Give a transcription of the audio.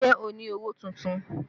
Ṣé o ni owó tuntun?